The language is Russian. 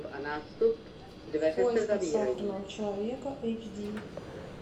в поисках сахарного человека эйч ди